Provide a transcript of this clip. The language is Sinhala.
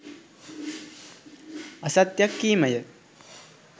අසත්‍යයක් කීම ය.